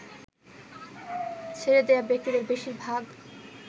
ছেড়ে দেয়া ব্যক্তিদের বেশির ভাগ